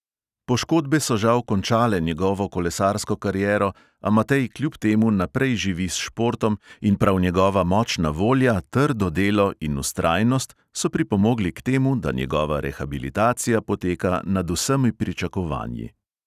Poškodbe so žal končale njegovo kolesarsko kariero, a matej kljub temu naprej živi s športom in prav njegova močna volja, trdo delo in vztrajnost so pripomogli k temu, da njegova rehabilitacija poteka nad vsemi pričakovanji.